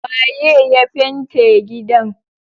Waye ya fente gidan?